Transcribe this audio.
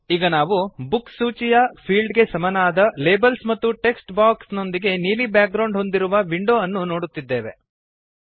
ಈಗ ನಾವು ಬುಕ್ಸ್ ಸೂಚಿಯ ಫೀಲ್ಡ್ ಗೆ ಸಮನಾದ ಲೇಬಲ್ಸ್ ಮತ್ತು ಟೆಕ್ಸ್ಟ್ ಬಾಕ್ಸ್ ನೊಂದಿಗೆ ನೀಲಿ ಬ್ಯಾಗ್ರೌಂಡ್ ಹೊಂದಿರುವ ವಿಂಡೋ ಅನ್ನು ನೋಡುತ್ತಿದ್ದೇವೆ